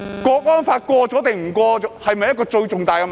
國安法通過與否是否最重大的問題？